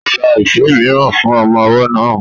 Ó ra ife mìíràn fún ọmọ ọwọ́ náà